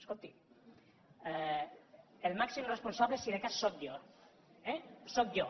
escolti el màxim responsable si de cas sóc jo eh sóc jo